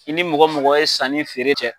I ni mɔgɔ mɔgɔ ye sanni feere kɛ.